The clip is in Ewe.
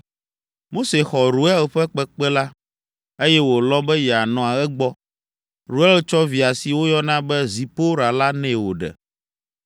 Mose xɔ Reuel ƒe kpekpe la, eye wòlɔ̃ be yeanɔ egbɔ. Reuel tsɔ via si woyɔna be Zipora la nɛ wòɖe.